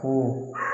Ko